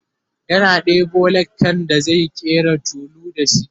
yana ɗebo lakan da zai ƙera tulu da shi